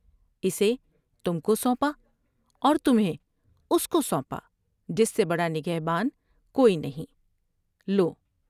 اسے تم کو سونپا اور تمھیں اس کو سونپا جس سے بڑا نگہبان کوئی نہیں لو